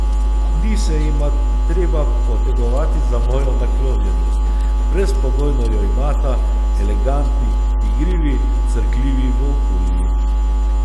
Ni se jima treba potegovati za mojo naklonjenost, brezpogojno jo imata, elegantni, igrivi, crkljivi volkulji.